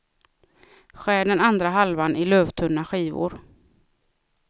Skär den andra halvan i lövtunna skivor.